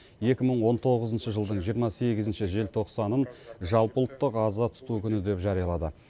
екі мың он тоғызыншы жылдың жиырма сегізінші желтоқсанын жалпыұлттық аза тұту күні деп жариялады